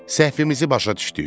Səhvimizi başa düşdük.